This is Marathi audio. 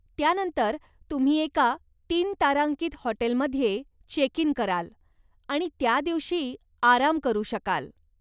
त्यानंतर तुम्ही एका तीन तारांकित हॉटेलमध्ये चेकइन कराल आणि त्या दिवशी आराम करू शकाल.